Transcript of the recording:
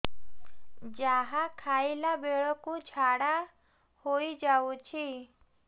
ଯାହା ଖାଇଲା ବେଳକୁ ଝାଡ଼ା ହୋଇ ଯାଉଛି